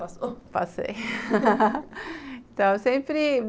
Passou... passei então, eu sempre...